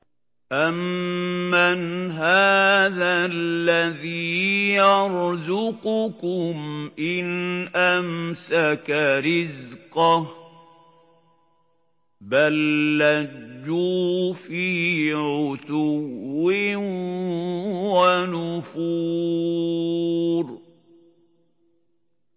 أَمَّنْ هَٰذَا الَّذِي يَرْزُقُكُمْ إِنْ أَمْسَكَ رِزْقَهُ ۚ بَل لَّجُّوا فِي عُتُوٍّ وَنُفُورٍ